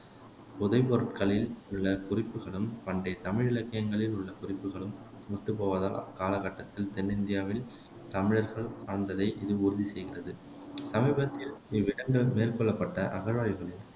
புதைபொருட்களில் உள்ள குறிப்புகளும் பண்டைய தமிழ் இலக்கியங்களில் உள்ள குறிப்புகளும் ஒத்துப் போவதால் அக்கால கட்டத்தில் தென்னிந்தியாவில் தமிழர்கள் வாழ்ந்ததை இது உறுதி செய்கிறது சமீபத்தில் இவ்விடங்களில் மேற்கொள்ளப்பட்ட அகழ்வாய்வுகளில்